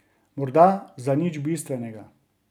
Morda za nič bistvenega.